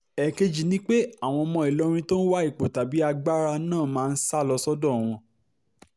ẹ̀ẹ̀kejì ni pé àwọn ọmọ ìlọrin tó ń wá ipò tàbí agbára náà máa ń sá lọ sọ́dọ̀ wọn